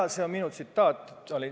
Jaa, see on minu tsitaat.